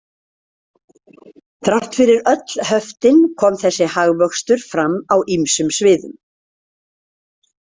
Þrátt fyrir öll höftin kom þessi hagvöxtur fram á ýmsum sviðum.